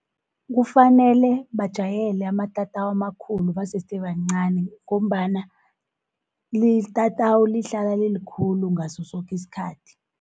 Kufanele bajayele amatatawu amakhulu basese bancani, ngombana itatawu lihlala lilikhulu ngaso soke isikhathi.